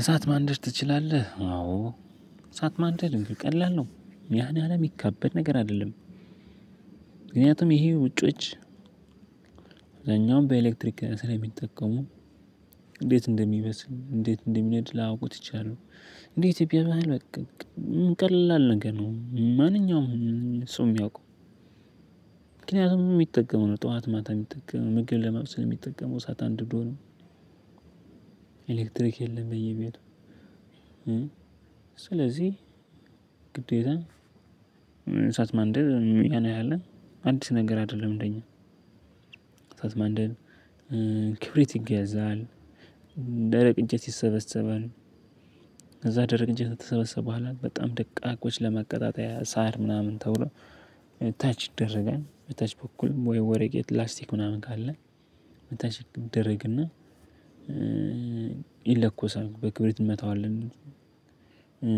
እሳት ማንደድ ትችላለህ? አዎ እሳት ማንደድ ቀላል ነው ያን ያህል የሚከበድ ነገር አይደለም። ምክንያቱም ይሄ ውጪዎች እዛኛውም በኤሌክትሪክ ስለሚጠቀሙ። እንዴት እንደሚበስል እንዴት እንደሚነድ ላያውቁት ይቻላል። እንዴት ኢትዮጵያ ባህል በቃ። ቀላል ነገር ነው ማንኛውም ሰው የሚያውቀው። ምክንያቱም የሚጠቀመው ጠዋት ማታ የሚጠቀመው ምግብ ለመብሰል የሚጠቀመው እሳት አንድዶ ነው። ኤሌክትሪክ የለም በየቤቱ። ስለዚህ ግዴታህ እሳት ማንደድ ያን ያህል አዲስ ነገር አይደለም። እንደኛ እሳት ማንደድ። ክብሪት ይገዛል። ደረቅ እንጨት ይሰበሰባል። ከዛ ደረቅ እንጨት ከተሰበሰበ በኋላ በጣም ደቃቆች ለመቀጣጠያ ሳር ምናምን ተብሎ። ታች ይደረጋል በታች በኩል ወይ ወርቀት ላስቲክ ምናምን ካለ በታች ይደረግና ይለኮሳል በክብሪት እንመታዋለን።